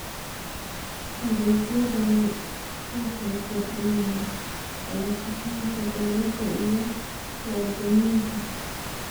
Adeegyadani waxay kordhiyaan wada shaqaynta dawladda iyo muwaadiniinta.